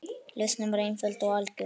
Lausnin var einföld og algjör.